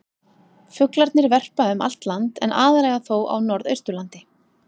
Fuglarnir verpa um allt land en aðallega þó á norðausturlandi.